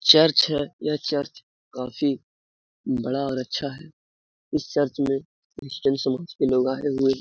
Church है यह church काफी बड़ा और अच्छा है इस चर्च में क्रिश्चन समाज के सारे लोग आए हुए है।